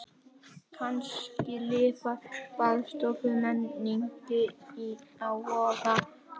Kannski lifir baðstofumenningin á Vogi.